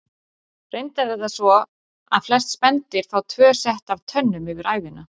Reyndar er það svo að flest spendýr fá tvö sett af tönnum yfir ævina.